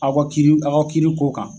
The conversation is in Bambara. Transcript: Aw ka kiri aw ka kiiri ko kan